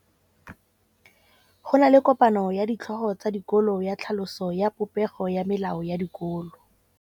Go na le kopanô ya ditlhogo tsa dikolo ya tlhaloso ya popêgô ya melao ya dikolo.